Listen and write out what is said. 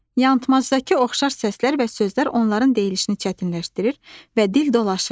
Yanılmazdakı oxşar səslər və sözlər onların deyilişini çətinləşdirir və dil dolaşır.